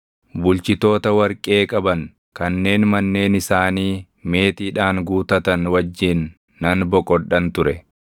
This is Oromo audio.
bulchitoota warqee qaban, kanneen manneen isaanii meetiidhaan guutatan wajjin nan boqodhan ture.